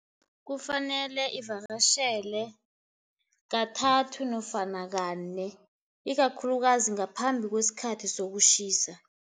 Kufanele ivakatjhele kathathu nofana kane, ikakhulukazi ngaphambi kwesikhathi sokutjhisa.